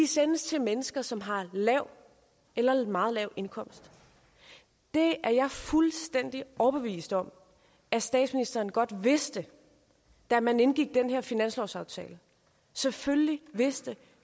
sendes til mennesker som har en lav eller meget lav indkomst det er jeg fuldstændig overbevist om at statsministeren godt vidste da man indgik den her finanslovsaftale selvfølgelig vidste